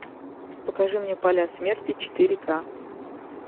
покажи мне поля смерти четыре ка